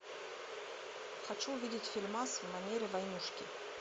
хочу увидеть фильмас в манере войнушки